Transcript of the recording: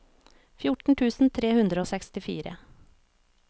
fjorten tusen tre hundre og sekstifire